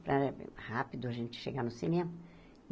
Para rápido a gente chegar no cinema.